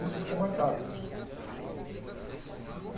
Isso ficou marcado.